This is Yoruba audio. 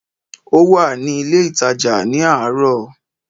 Ó wà ní ilé ìtàjà ní àárọ̀